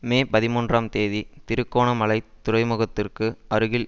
மே பதிமூன்றாம் தேதி திருகோணமலைத் துறைமுகத்திற்கு அருகில்